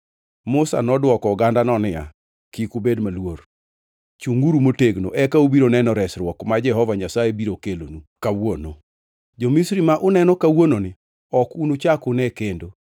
Musa nodwoko ogandano niya, “Kik ubed maluor. Chungʼuru motegno eka ubiro neno resruok ma Jehova Nyasaye biro kelonu kawuono. Jo-Misri ma uneno kawuononi ok unuchak une kendo.